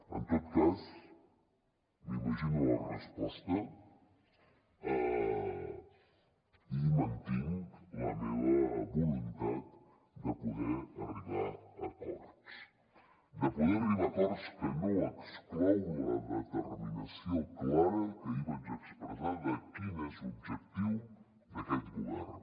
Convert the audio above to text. en tot cas m’imagino la resposta i mantinc la meva voluntat de poder arribar a acords de poder arribar a acords que no exclouen la determinació clara que ahir vaig expressar de quin és l’objectiu d’aquest govern